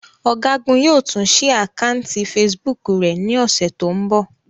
Ọ̀gágun yóò tún ṣí àkátì Facebook rẹ̀ ní ọ̀sẹ̀ tó ń bọ̀.